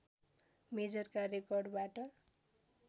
मेजरका रेकर्डबाट